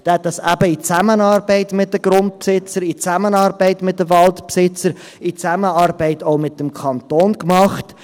Er hat dies eben in Zusammenarbeit mit den Grundbesitzern, in Zusammenarbeit mit den Waldbesitzern, in Zusammenarbeit auch mit dem Kanton gemacht.